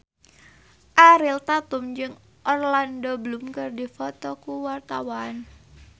Ariel Tatum jeung Orlando Bloom keur dipoto ku wartawan